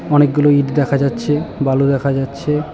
অনেকগুলো ইঁট দেখা যাচ্ছে বালু দেখা যাচ্ছে।